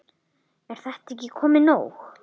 Er þetta ekki komið nóg?